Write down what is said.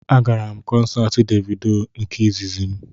Agara m kọnsaati Devido nke izizi m